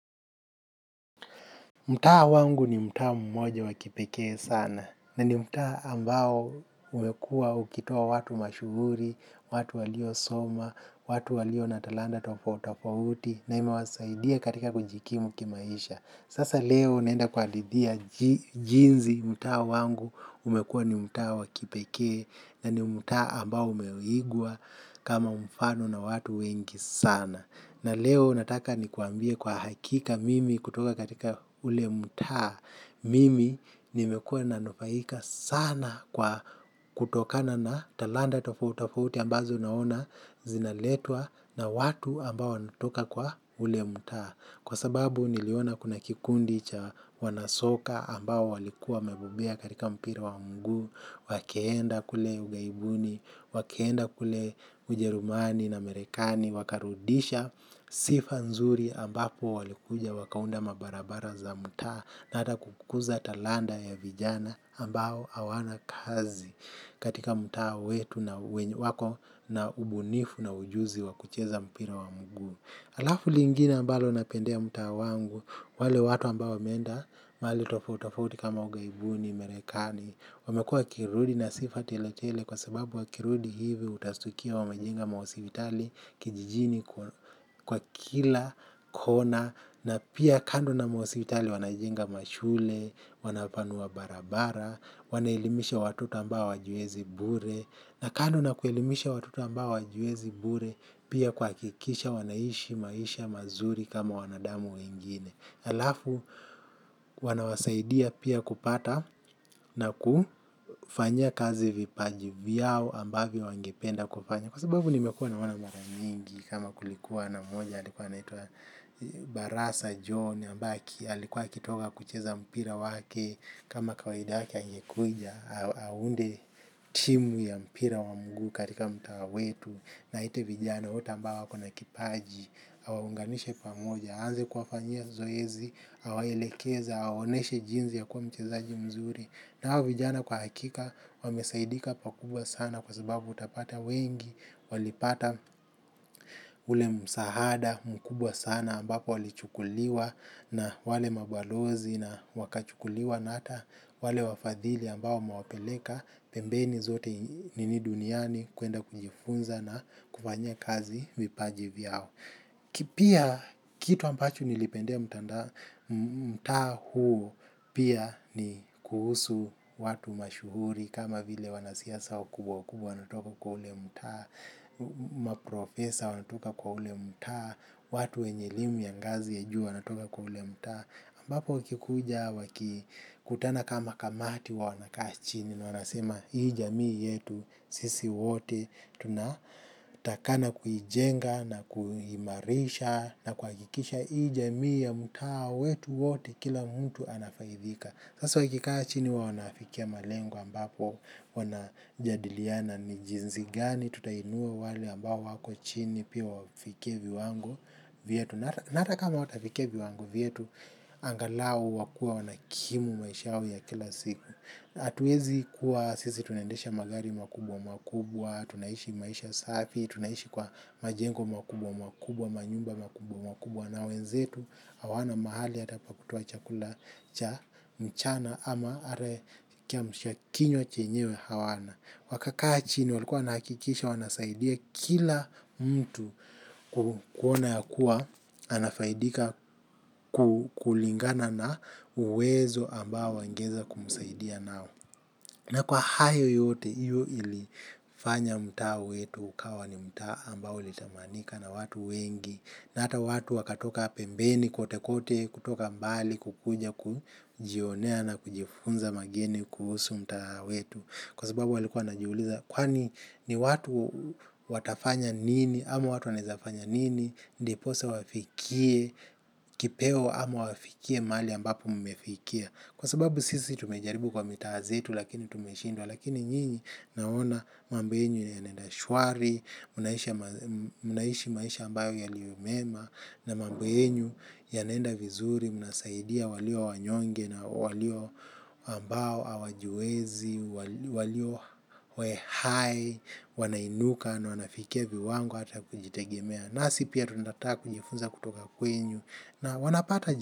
Mtaa wangu ni mtaa mmoja wakipekee sana na ni mtaa ambao umekuwa ukitoa watu mashuhuri, watu walio soma, watu walio na talanta tofauti tofauti na imewasaidia katika kujikimu kimaisha. Sasa leo naenda kawahadithia jinzi mta wangu umekuwa ni mta wakipekee na ni mta ambao umeigwa kama mfano na watu wengi sana. Na leo nataka nikwambie kwa hakika mimi kutoka katika ule mtaa. Mimi nimekua nanufaika sana kwa kutokana na talanta tofauti tofauti ambazo naona zinaletwa na watu ambao wanatoka kwa ule mtaa. Kwa sababu niliona kuna kikundi cha wanasoka ambao walikuwa wamebembea katika mpira wa miguu. Wakaenda kule ughaibuni, wakaenda kule ujerumani na marekani. Wakarudisha sifa nzuri ambapo walikuja wakaunda mabarabara za mtaa. Na ata kukuza talanta ya vijana ambao hawana kazi katika mtaa wetu na wako na ubunifu na ujuzi wakucheza mpira wa miguu. Alafu lingine mbalo napendea mtaa wangu, wale watu ambao wameenda, mahali tofauti tofauti kama ughaibuni, marekani, wamekuwa wakirudi na sifa tiletele kwa sababu wakirudi hivi utastukia wamajenga mahosipitali kijijini kwa kila, kona, na pia kando na mahospitali wanajenga mashule, wanapanua barabara, wanaelimisha watoto ambao hajiwezi bure, na kando na kuelimisha watoto ambao hawajiwezi bure pia kuhakikisha wanaishi maisha mazuri kama wanadamu wengine. Alafu wanawasaidia pia kupata na kufanyia kazi vipaji vyao ambavyo wangependa kufanya. Kwa sababu nimekuwa na wana maramingi kama kulikuwa na moja alikuwa anaitwa Barasa John ombaki alikuwa akitoka kucheza mpira wake. Kama kawaida yake akikuja, aunde timu ya mpira wa mguu katika mtaa wetu. Na aite vijana, wote ambao wakona kipaji, awaunganishe pamoja aanze kuwafanyia zoezi, awaelekeza, aonyeshe jinsi ya kuwa mchezaji mzuri. Na hawa vijana kwa hakika, wamesaidika pakubwa sana kwa sababu utapata wengi. Walipata ule msahada, mkubwa sana ambapo walichukuliwa na wale mabalozi na wakachukuliwa na ata wale wafadhili ambao wamawapeleka pembeni zote nini duniani kuenda kunjifunza na kufanyia kazi vipaje vyao. Pia kitu ampachu nilipendea mtaa huu pia ni kuhusu watu mashuhuri kama vile wanasiasa wakubwa wukubwa wanaotoka kwa ule mta, maprofesa wanatoka kwa ule mta, watu wenye elimu ya ngazi ya juu wanatoka kwa ule mtaa ambapo wakikuja wakikutana kama kamati wanakaa chini. Na wanasema hii jamii yetu sisi wote tunatakana kuijenga na kuhimarisha. Na kuhakikisha hii jamii ya mtaa wetu wote kila mtu anafaidika. Sasa wakikaachini wanafikia malengo ambapo wanajadiliana ni jinsi gani tutainua wale ambao wako chini pia wafike viwango vyetu, na hatakama hawatafikia viwango vyetu angalau wakue wanakimu maisha yao ya kila siku hatuwezi kuwa sisi tunendesha magari makubwa makubwa. Tunaishi maisha safi. Tunaishi kwa majengo makubwa makubwa. Manyumba makubwa makubwa na wenzetu hawana mahali hata pakutoa chakula cha mchana ama kiamsha kinywa chenyewe hawana. Wakakaa chini walikuwa wanahakikisha wanasaidia kila mtu kuona yakuwa, anafaidika kulingana na uwezo ambao wangeweza kumusaidia nao. Na kwa hayo yote hiyo ilifanya mtaa wetu ukawa ni mtaa ambao unatamanika na watu wengi. Na hata watu wakatoka pembeni kote kote, kutoka mbali kukuja kujionea na kujifunza mageni kuhusu mtaa wetu. Kwa sababu walikua wanajuliza kwani ni watu watafanya nini ama watu wanaweza fanya nini ndiposa wafikie kipeo ama wafikie mahali ambapo mmefikia kwa sababu sisi tumejaribu kwa mitaa zetu lakini tumeshindwa lakini nyingi naona mambo yenu yanenda shwari mnaishi maisha ambayo yaliomema na mambo yenu yanenda vizuri mnasaidia walio wanyonge na walio ambao hawajiwezi, walio hoehae, wanainuka na wanafikia viwango hata kujitegemea. Nasi pia tunataka kujifunza kutoka kwenu na wanapata.